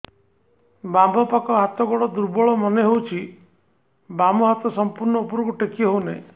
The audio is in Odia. ବାମ ପାଖ ହାତ ଗୋଡ ଦୁର୍ବଳ ମନେ ହଉଛି ବାମ ହାତ ସମ୍ପୂର୍ଣ ଉପରକୁ ଟେକି ହଉ ନାହିଁ